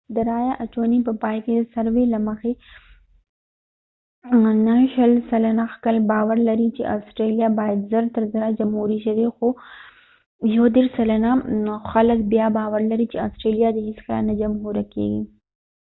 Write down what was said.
د رأیه اچونې په پای کې د سروې له مخې 29 سلنه خلک باور لري چې آسټرلیا باید زر تر زره جمهوري شي خو 31 سلنه خلک بیا باور لري چې آسټرلیا دې هیڅکله نه جمهوري کېږي